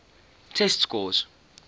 test scores